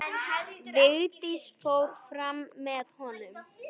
Vigdís fór fram með honum.